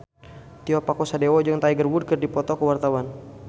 Tio Pakusadewo jeung Tiger Wood keur dipoto ku wartawan